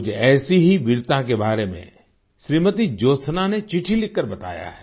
मुझे ऐसी ही वीरता के बारे में श्रीमती ज्योत्सना ने चिट्ठी लिखकर बताया है